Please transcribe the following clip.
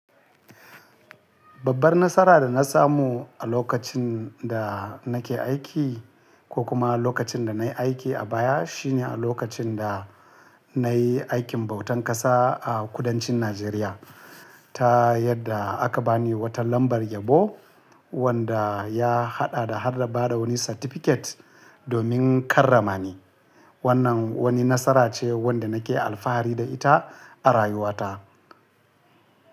Babbar nasara da na samu a lokacin da nake aiki ko kuma lokacin da na yi aiki a baya shine a lokacin da na yi aikin bautan ƙasa a kudancin Najeriya, ta yadda aka ba ni wata lambar yabo wanda ya haɗa da har da bada wani certificate domin karrama ni. Wannan wani nasara ce wanda nake alfahari da ita a rayuwata.